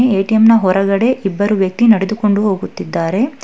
ATM ನ ಹೊರಗಡೆ ಇಬ್ಬರು ವ್ಯಕ್ತಿ ನಡೆದುಕೊಂಡು ಹೋಗುತ್ತಿದ್ದಾರೆ.